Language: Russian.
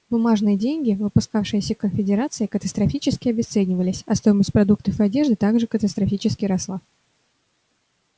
бумажные деньги выпускавшиеся конфедерацией катастрофически обесценивались а стоимость продуктов и одежды так же катастрофически росла